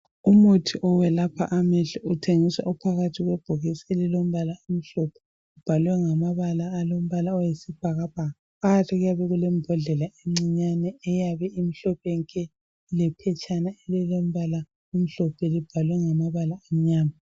Umuthi owelapha amehlo uthengiswa uphakathi kwebhokisi elilombala omhlophe obhalwe ngamabala alombala oyisibhakabhaka phakathi kuyabe kulembodlela encinyane eyabe imhlophe nke ilephetshana elilombala omhlophe libhalwe ngamabala amnyama.